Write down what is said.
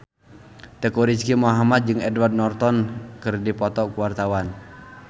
Teuku Rizky Muhammad jeung Edward Norton keur dipoto ku wartawan